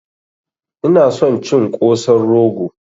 Ina son cin Kosan rogo